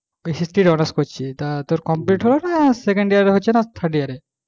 honours তে করছিস তো তোর complete হোক second year এ হচ্ছে না, third year এ